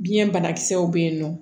Biɲɛ bana kisɛw be yen nɔ